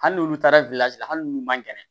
Hali n'olu taara la hali n'u man kɛnɛ